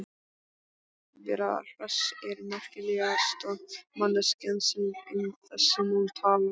Vera Hress er merkilegasta manneskjan sem um þessi mál talar.